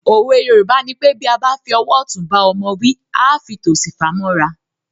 Òwe Yorùbá nipé “ Bí a bá fi ọwọ́ ọ̀tún bá ọmọ wí, à á fi tòsì fà mọ́ra ”.